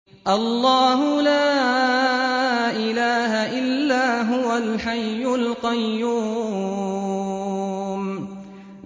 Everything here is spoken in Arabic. اللَّهُ لَا إِلَٰهَ إِلَّا هُوَ الْحَيُّ الْقَيُّومُ